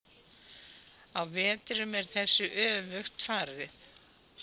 Á vetrum er þessu öfugt farið.